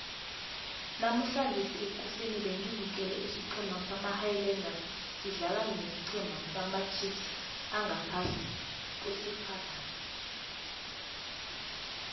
namuhlange ekuseni bengibukele isiceme sama highlanders sidlala nesicema samacheifs angaphasi kwesuper rugby